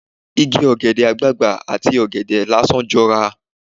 Igi ọ̀gẹ̀dẹ̀ àgbagbà ati ọ̀gẹ̀dẹ̀ lásán jọra.